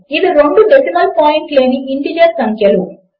ఇవి రెండు decimal point లేని ఇంటీజర్ సంఖ్యలు